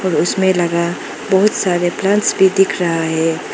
उसमें लगा बहुत सारे प्लांट्स भी दिख रहा है।